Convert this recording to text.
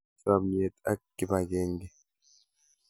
Chamyet ak kipakenge.